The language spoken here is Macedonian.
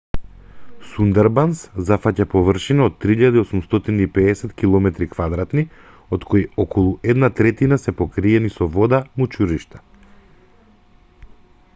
сундарбанс зафаќа површина од 3.850 км² од кои околу една третина се покриени со вода/мочуришта